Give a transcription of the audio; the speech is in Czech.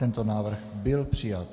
Tento návrh byl přijat.